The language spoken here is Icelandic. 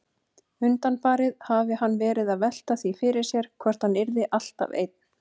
Undanfarið hafði hann verið að velta því fyrir sér hvort hann yrði alltaf einn.